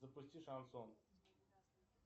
запусти шансон